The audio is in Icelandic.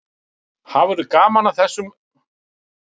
Hafðirðu gaman af þessum gauragangi?